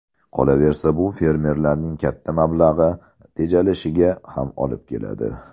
Qolaversa, bu fermerlarning katta mablag‘i tejalishiga ham olib keladi.